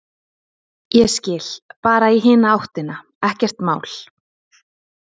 Ég skil, bara í hina áttina, ekkert mál.